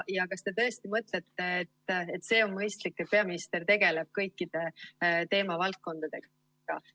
Kas te tõesti mõtlete, et see on mõistlik, et peaminister tegeleb kõikide teemavaldkondadega?